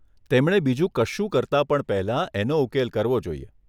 તેમણે બીજું કશું કરતા પણ પહેલાં એનો ઉકેલ કરવો જોઈએ.